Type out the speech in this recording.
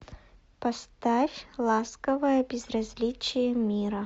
поставь ласковое безразличие мира